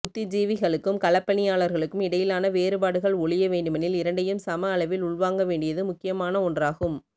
புத்திஜீவிகளுக்கும் களப்பணியாளர்களுக்கும் இடையிலான வேறுபாடுகள் ஒழிய வேண்டுமெனில் இரண்டையும் சம அளவில் உள்வாங்க வேண்டியது முக்கியமான ஒன்றாகும்